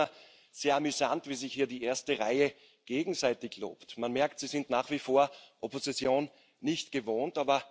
Ich finde das immer sehr amüsant, wie sich hier die erste Reihe gegenseitig lobt. Man merkt, Sie sind nach wie vor Opposition nicht gewohnt.